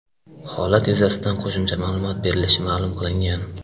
Holat yuzasidan qo‘shimcha ma’lumot berilishi ma’lum qilingan.